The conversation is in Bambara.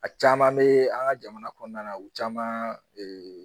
A caman mɛ an ka jamana kɔnɔna u caman